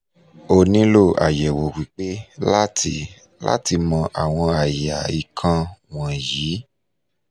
o nilo ayẹwo pipe lati lati mọ awọn aya ikan wọnyi